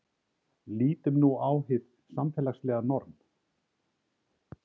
lítum nú á hið samfélagslega norm